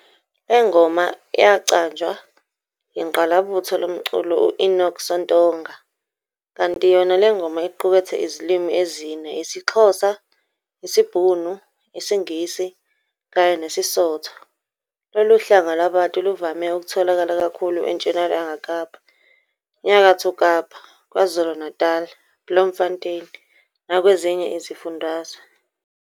Le ngoma yacanjwa yingqalabutho lomculo u-Enoch Sontonga, kanti yona lengoma iqukethe izilimi ezine isiXhosa, isibhunu, isiNgisi kanye nesiSotho. Lolu hlanga lwabantu luvame ukutholakala kakhulu enTshonalanga-Kapa, Nyakatho-Kapa, KwaZulu-Natali, Bloemfontein nakwezinye izifundazwe.